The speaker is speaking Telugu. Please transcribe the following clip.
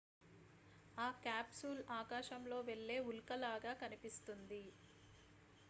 ఆ క్యాప్సూల్ ఆకాశంలో వెళ్ళే ఉల్క లాగా కనిపిస్తుంది